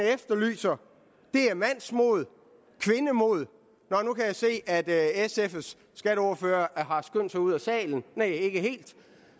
efterlyser er mandsmod kvindemod nå nu kan jeg se at sfs skatteordfører har skyndt sig ud af salen næh ikke helt